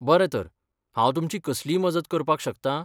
बरें तर. हांव तुमची कसलीय मजत करपाक शकतां?